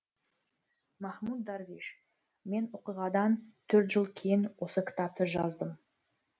махмуд дарвиш мен оқиғадан төрт жыл кейін осы кітапты жаздым